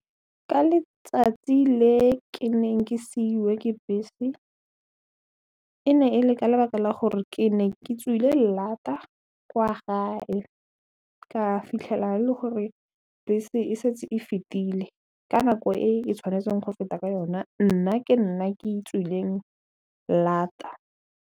Ka letsatsi le ke neng ke seiwe ke bese e ne e le ka lebaka la gore ke ne ke tswile lata kwa gae ka fitlhela e le gore bese e setse e fetile ka nako e e tshwanetseng go feta ka yona nna ke nna ke tswileng lata.